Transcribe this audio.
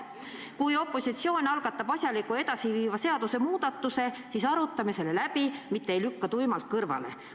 Kui opositsioon algatab asjaliku ja edasiviiva seadusemuudatuse, siis arutame selle läbi, mitte ei lükka tuimalt kõrvale.